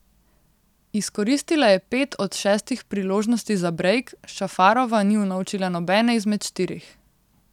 Izkoristila je pet od šestih priložnosti za brejk, Šafarova ni unovčila nobene izmed štirih.